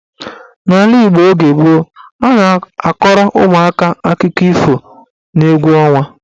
N'ala Igbo oge gboo, a na-akọrọ ụmụaka akụkọ ifo n'egwu ọnwa.